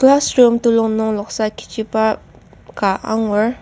Classroom telung nung noksa kiji ka angur.